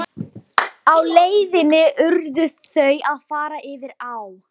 Á leið sinni urðu þau að fara yfir á.